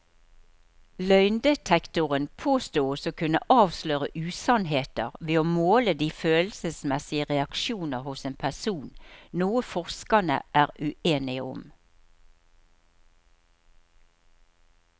Løgndetektoren påstås å kunne avsløre usannheter ved å måle de følelsesmessige reaksjoner hos en person, noe forskerne er uenige om.